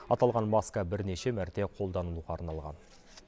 аталған маска бірнеше мәрте қолдануға арналған